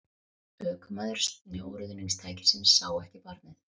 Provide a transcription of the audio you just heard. Ökumaður snjóruðningstækisins sá ekki barnið